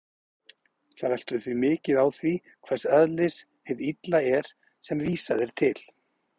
Það veltur því mikið á því hvers eðlis hið illa er sem vísað er til.